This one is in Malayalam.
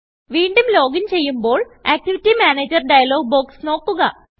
വീണ്ടും ലോഗിൻ ചെയ്യുമ്പോൾ ആക്ടിവിറ്റി Managerഡയലോഗ് ബോക്സ് നോക്കുക